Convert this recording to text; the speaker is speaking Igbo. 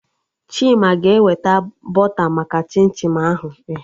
Chima ga-eweta bọta maka chim chim ahụ